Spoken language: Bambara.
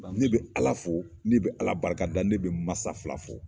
Ne be ala fo ne be ala barika da ne be n masa fila fo